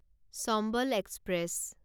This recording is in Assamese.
চম্বল এক্সপ্ৰেছ